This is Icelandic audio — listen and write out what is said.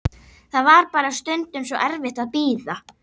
Það var bara stundum svo erfitt að bíða.